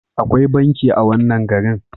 Akwai banki a wannan garin.